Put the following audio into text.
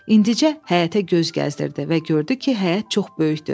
İndicə həyətə göz gəzdirdi və gördü ki, həyət çox böyükdür.